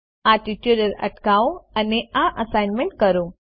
આ ટ્યુટોરીયલ અટકાવો અને આ એસાઈનમેન્ટ કરો